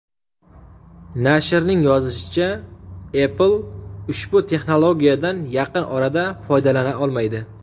Nashrning yozishicha, Apple ushbu texnologiyadan yaqin orada foydalana olmaydi.